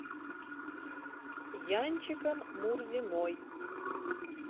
янчиком мурзиной